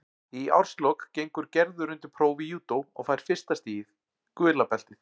Í árslok gengur Gerður undir próf í júdó og fær fyrsta stigið, gula beltið.